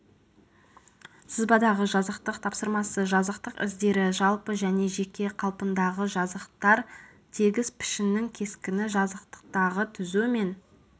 сызбадағы жазықтық тапсырмасы жазықтық іздері жалпы және жеке қалпындағы жазықтар тегіс пішіннің кескіні жазықтықтағы түзу мен